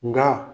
Nka